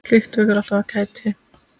Slíkt vekur alltaf kæti.